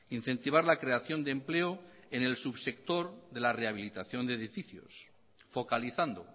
incentivar la creación de empleo en el subsector de la rehabilitación de edificios focalizando